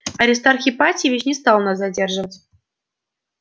аристарх ипатьевич не стал нас задерживать